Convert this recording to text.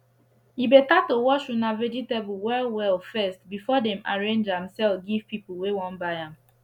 e better to wash una vegetable well well first before dem arrange am sell give people wey wan buy am